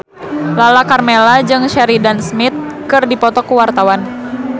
Lala Karmela jeung Sheridan Smith keur dipoto ku wartawan